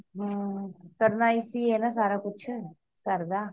ਹੰ ਕਰਨਾ ਅੱਸੀ ਹੈ ਨਾ ਸਾਰਾ ਕੁਛ ਘਰ ਦਾ